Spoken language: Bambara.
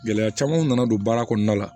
Gɛlɛya camanw nana don baara kɔnɔna la